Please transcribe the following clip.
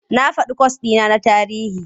Na faɗi kwas ɗi na na tarihi.